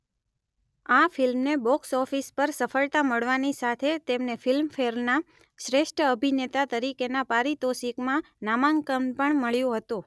આ ફિલ્મને બોક્સઓફિસ પર સફળતા મળવાની સાથે તેમને ફિલ્મફેરના શ્રેષ્ઠ અભિનેતા તરીકેના પારિતોષિકમાં નામાંકન પણ મળ્યું હતું